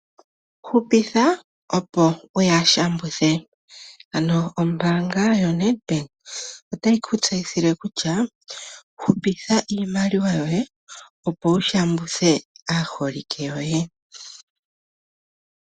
Hupitha opo wu ya shambuthe. Ano ombaanga yoNedbank otayi ku tseyithile kutya, hupitha iimaliwa yoye, opo wu shambuthe aaholike yoye.